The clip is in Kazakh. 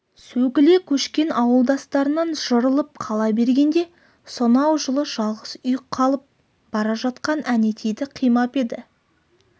сөгіле көшкен ауылдастарынан жырылып қала бергенде сонау жылы жалғыз үй қалып бара жатқан әнетейді қимап еді